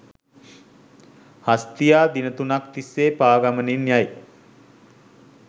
හස්තියා දින තුනක් තිස්සේ පා ගමනින් යයි.